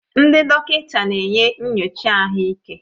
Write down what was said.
Ndị dọkịta na-enye nyocha ahụike